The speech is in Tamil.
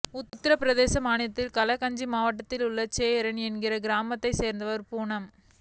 உத்தரபிரதேச மாநிலம் கஸ்கஞ்ச் மாவட்டத்தில் உள்ள சோரோன் என்ற கிராமத்தை சேர்ந்தவர் பூனம்